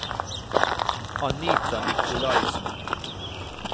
Anita Nicolaysen